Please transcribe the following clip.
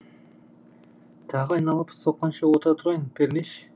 тағы айналып соққанша отыра тұрайын пернеш